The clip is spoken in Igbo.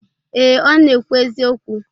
Ee, Ọ na-ekwu eziokwu.